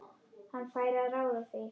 Hann fær að ráða því.